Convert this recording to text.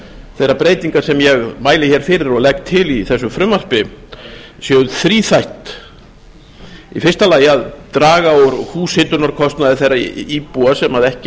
þeirra breytinga sem ég mæli fyrir og legg til í þessu frumvarpi séu þríþætt fyrsta að draga úr húshitunarkostnaði þeirra íbúa sem ekki